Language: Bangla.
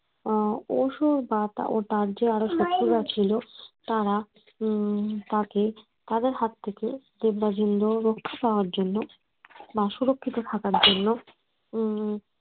উম ওই সময় রাজ্যে আরও শত্রুরা ছিল তারা উম তাকে তাদের হাত থেকে দেবরাজ ইন্দ্রকে রক্ষা করার জন্য বা সুরক্ষিত থাকার জন্য এই